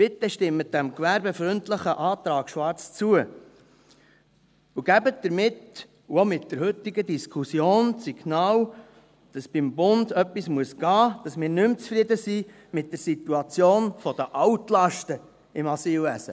Bitte stimmen Sie dem gewerbefreundlichen Antrag Schwarz zu, und geben Sie damit, und auch mit der heutigen Diskussion, das Signal, dass beim Bund etwas gehen muss, dass wir nicht mehr zufrieden sind mit der Situation der Altlasten im Asylwesen.